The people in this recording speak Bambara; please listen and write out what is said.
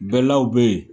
Bɛlaw bɛ yen